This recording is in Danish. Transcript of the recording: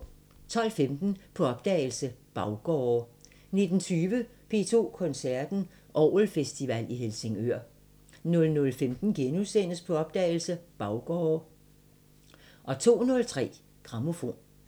12:15: På opdagelse – Baggårde 19:20: P2 Koncerten – Orgelfestival i Helsingør 00:15: På opdagelse – Baggårde * 02:03: Grammofon